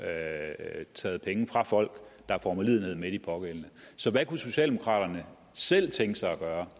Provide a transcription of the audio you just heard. at tage penge fra folk der får medlidenhed med de pågældende så hvad kunne socialdemokraterne selv tænke sig gøre